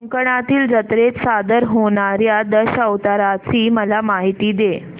कोकणातील जत्रेत सादर होणार्या दशावताराची मला माहिती दे